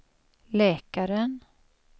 läkaren